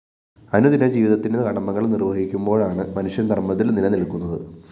അനുദിന ജീവിതത്തിന്റെ കടമകള്‍ നിര്‍വഹിക്കുമ്പോഴാണു മനുഷ്യന്‍ ധര്‍മത്തില്‍ നിലനില്‍ക്കുന്നത്